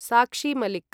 साक्षी मलिक्